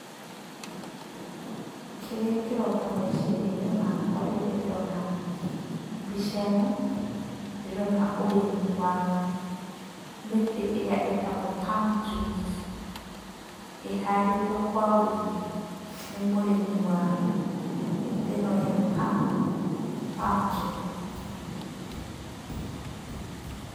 Kĩrĩa kĩroka meciria-inĩ makwa rĩrĩa ndona mbica ĩno, ndĩrona ũrĩmi wa mĩtĩ ĩrĩa ĩtagwo palm trees, ĩhandĩtwo kwa ũingĩ, nĩ mũrĩmi wa mĩtĩ ĩno ya palm, palm tree.